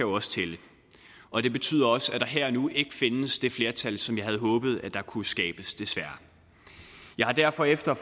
også tælle og det betyder også at der her og nu ikke findes det flertal som jeg havde håbet at der kunne skabes desværre jeg har derfor efter